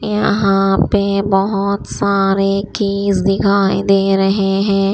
यहां पे बहुत सारे कीज दिखाई दे रहे हैं।